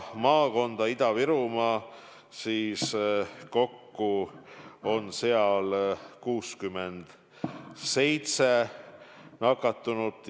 Kokku on seal 67 nakatunut.